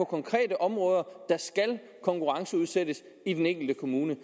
konkrete områder der skal konkurrenceudsættes i den enkelte kommune